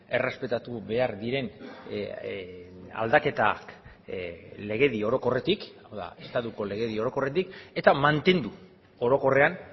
errespetatu behar diren aldaketak legedi orokorretik hau da estatuko legedi orokorretik eta mantendu orokorrean